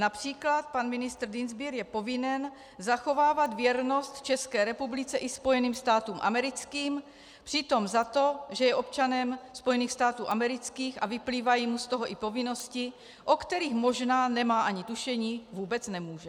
Například pan ministr Dienstbier je povinen zachovávat věrnost České republice i Spojeným státům americkým, přitom za to, že je občanem Spojených států amerických a vyplývají mu z toho i povinnosti, o kterých možná nemá ani tušení, vůbec nemůže.